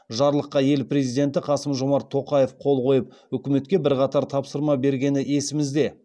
жарлыққа ел президенті қасым жомарт тоқаев қол қойып үкіметке бірқатар тапсырма бергені есімізде